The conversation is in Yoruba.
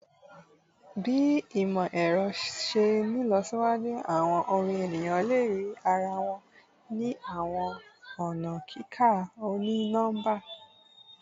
Bi imọ-ẹrọ ṣe nlọsiwaju awọn orin eniyan le rii ara wọn ni awọn ọna kika oni-nọmba